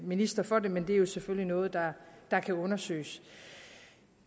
minister for det men det er selvfølgelig noget der kan undersøges